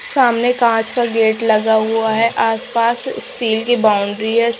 सामने कांच का गेट लगा हुआ है आस पास स्टील की बाउंड्री है।